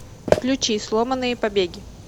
включи сломанные побеги